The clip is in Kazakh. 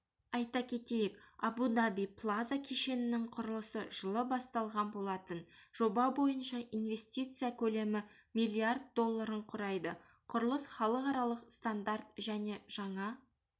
айта кетейік абу-даби плаза кешенінің құрылысы жылы басталған болатын жоба бойынша инвестиция көлемі миллиард долларын құрайды құрылыс халықаралық стандарт және жаңа